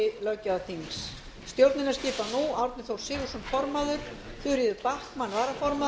á vef þingsins tók háttvirtur þriðji þingmaður suðvesturkjördæmis guðfríður